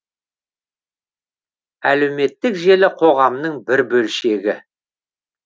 әлеуметтік желі қоғамның бір бөлшегі